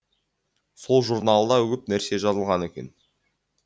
сол журналда көп нәрсе жазылған екен